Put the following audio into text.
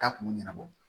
Taa kun ɲɛnabɔ